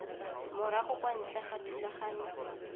morago kwa ntle ga thulaganyo